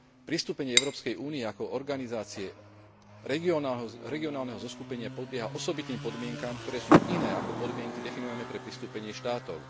Pristúpením Európskej únie ako organizácie regionálneho zoskupenia podlieha osobitným podmienkam, ktoré sú iné ako podmienky definované pre pristúpenie štátov.